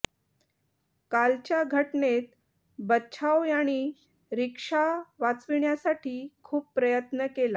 कालच्या घटनेत बच्छाव यांनी रिक्षा वाचविण्यासाठी खूप प्रयत्न केला